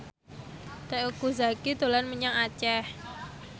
Teuku Zacky dolan menyang Aceh